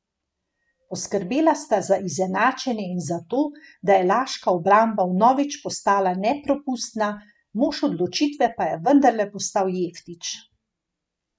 Poskrbela sta za izenačenje in za to, da je laška obramba vnovič postala neprepustna, mož odločitve pa je vendarle postal Jeftić.